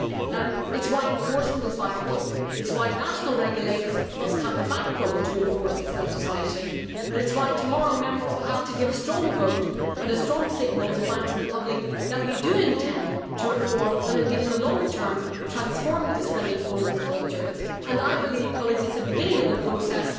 It is why enforcement is vital, it is why national regulators must have the backbone to enforce this legislation and it is why tomorrow, Members will have to give a strong vote and a strong signal to banks and the public that we do intend to reform and, indeed, transform the discredited bonus culture in the long term. I believe, colleagues, that it is the beginning of the process,